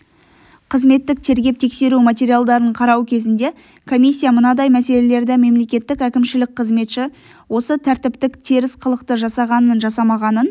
қызметтік тергеп-тексеру материалдарын қарау кезінде комиссия мынадай мәселелерді мемлекеттік әкімшілік қызметші осы тәртіптік теріс қылықты жасағанын-жасамағанын